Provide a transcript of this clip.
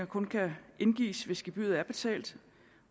kun kan indgives hvis gebyret er betalt